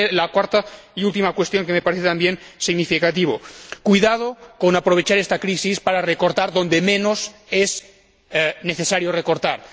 Y la cuarta y última cuestión, que me parece también significativa cuidado con aprovechar esta crisis para recortar donde menos es necesario recortar.